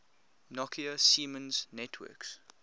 nokia siemens networks